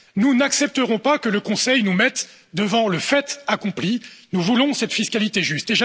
Nous n'accepterons pas que le Conseil nous mette devant le fait accompli, nous voulons cette fiscalité juste.